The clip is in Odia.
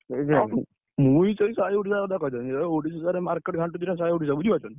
ମୁଁ ବି ସେଇ କଥା କହିଥାନ୍ତି ଏ ଓଡ଼ିଶା ସାରା don ଘାଣ୍ଟୁଛି ବୁଝି ପାରୁଛ ନା?